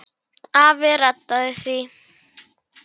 Afi reddaði því.